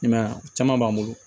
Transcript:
I m'a ye a caman b'an bolo